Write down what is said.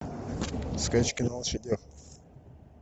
скачки на лошадях